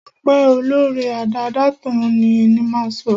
Ọpẹ́ olóóre, adáádátán ni, ni máa sọ.